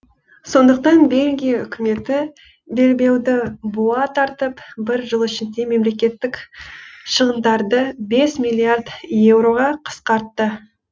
сондықтан бельгия үкіметі белбеуді буа тартып бір жыл ішінде мемлекеттік шығындарды бес миллиард еуроға қысқартты